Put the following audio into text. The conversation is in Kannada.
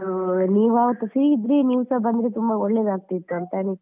ನೀವ್ ಅವತ್ತು free ಇದ್ರೆ ಬಂದರೆ ತುಂಬಾ ಒಳ್ಳೆದಾಗ್ತಿತ್ತು ಅಂತ ಅನಿಸಿ.